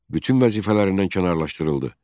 Bütün vəzifələrindən kənarlaşdırıldı.